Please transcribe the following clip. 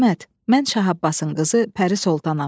Əhməd, mən Şah Abbasın qızı Pəri Sultanayam.